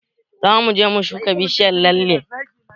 Zamu je mu shuka bishiyar lalle